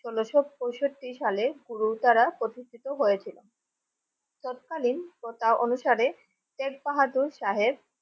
ষোলশ পঁয়ষট্টি সাল গুরুদারা প্রতিষ্ঠিত হয়েছিলেন তৎকালীন প্রথা অনুসারে শেখ বাহাদুর সাহেব।